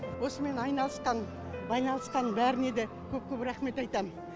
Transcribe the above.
осымен айналысқан байланысқан бәріне де көп көп рахмет айтам